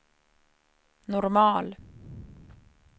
normal